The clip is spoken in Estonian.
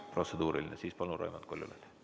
Kui protseduuriline, siis, palun, Raimond Kaljulaid!